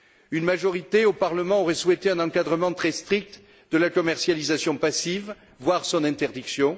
Une majorité au Parlement aurait souhaité un encadrement très strict de la commercialisation passive, voire son interdiction.